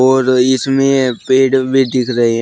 और इसमें पेड़ भी दिख रहे है।